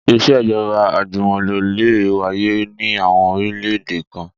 Ìṣèjọ́ba àjùmọ̀lò lè wáyé ní àwọn orílẹ̀-èdè kan